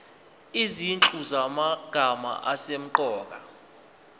izinhlu zamagama asemqoka